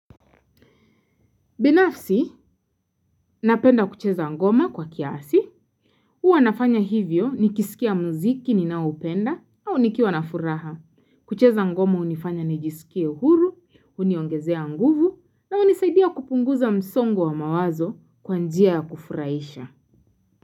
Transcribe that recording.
Binafsi, napenda kucheza ngoma kwa kiasi. Huwa nafanya hivyo nikisikia muziki ninaoupenda au nikiwa na furaha. Kucheza ngoma hunifanya nijisikie huru, huniongezea nguvu, na hunisaidia kupunguza msongo wa mawazo kwa njia ya kufurahisha.